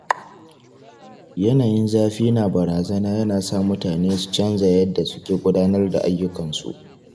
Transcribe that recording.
Yanayin zafi na bazara yana sa mutane su canza yadda suke gudanar da ayyukansu.